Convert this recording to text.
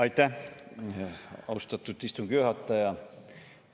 Aitäh, austatud istungi juhataja!